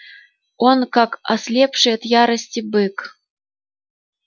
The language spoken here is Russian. он как ослепший от ярости бык